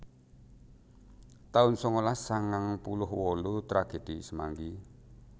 taun sangalas sangang puluh wolu Tragedi Semanggi